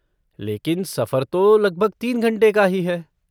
लेकिन, सफर तो लगभग तीन घंटे का ही है।